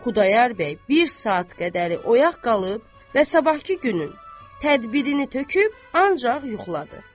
Xudayar bəy bir saat qədəri oyaq qalıb və sabahkı günün tədbirini töküb ancaq yuxuladı.